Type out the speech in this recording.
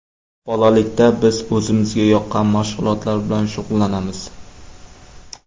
Bolalikda biz o‘zimizga yoqqan mashg‘ulotlar bilan shug‘ullanamiz.